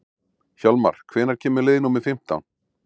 Hjálmar, hvenær kemur leið númer fimmtán?